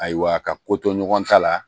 Ayiwa ka ko to ɲɔgɔn ta la